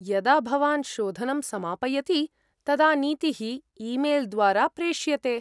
यदा भवान् शोधनं समापयति तदा नीतिः ईमेल्द्वारा प्रेष्यते।